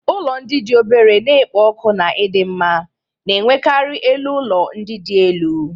Ụlọ ndị dị obere na-ekpo ọkụ na ịdị mma, na-enwekarị elu ụlọ ndị dị elu.